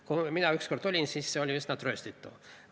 Kui mina ükskord seal olin, siis see oli üsna trööstitu.